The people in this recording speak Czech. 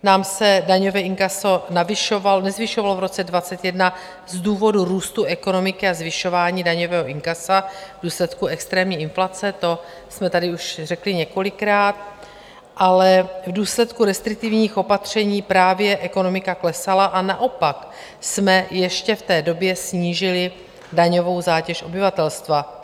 Nám se daňové inkaso nezvyšovalo v roce 2021 z důvodu růstu ekonomiky a zvyšování daňového inkasa v důsledku extrémní inflace - to jsme tady už řekli několikrát, ale v důsledku restriktivních opatření právě ekonomika klesala, a naopak jsme ještě v té době snížili daňovou zátěž obyvatelstva.